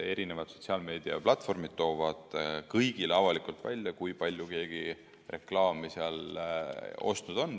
Eri sotsiaalmeediaplatvormid toovad kõigile avalikult välja, kui palju keegi seal reklaami ostnud on.